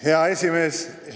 Hea esimees!